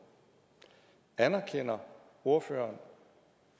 anerkender ordføreren